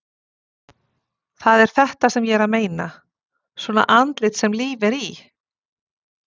Það er þetta sem ég er að meina. svona andlit sem líf er í!